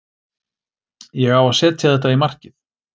Ég á að setja þetta í markið.